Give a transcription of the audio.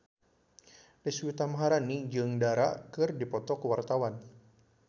Deswita Maharani jeung Dara keur dipoto ku wartawan